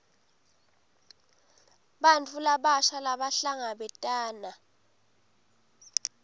bantfu labasha labahlangabetana